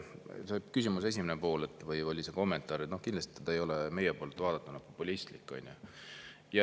See küsimuse esimene pool või oli see kommentaar – no kindlasti ei ole meie poolt vaadatuna populistlik.